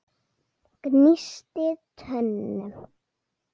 Gnísti tönnum.